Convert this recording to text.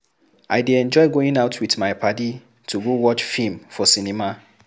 I dey enjoy going out with my padi to go watch film for cinema